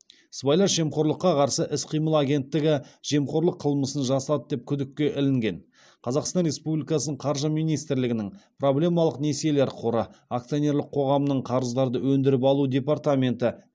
сыбайлас жемқорлыққа қарсы іс қимыл агенттігі жемқорлық қылмысын жасады деп күдікке ілінген қазақстан республикасының қаржы министрлігінің проблемалық несиелер қоры акционерлік қоғамның қарыздарды өндіріп алу департаменті